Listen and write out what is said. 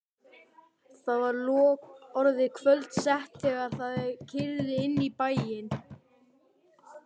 Það var orðið kvöldsett þegar þau keyrðu inn í bæinn.